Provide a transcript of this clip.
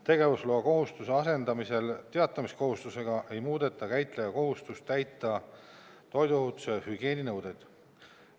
Tegevusloakohustuse asendamisel teatamiskohustusega ei muudeta käitleja kohustust täita toiduohutus- ja hügieeninõudeid.